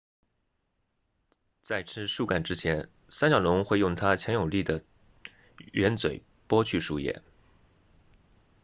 在吃树干之前三角龙会用它强有力的喙嘴剥去树叶